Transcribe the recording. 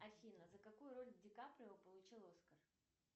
афина за какую роль ди каприо получил оскар